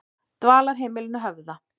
Dvalarheimilinu Höfða